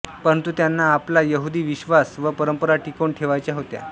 परंतु त्यांना आपला यहुदी विश्वास व परंपरा टिकवून ठेवायच्या होत्या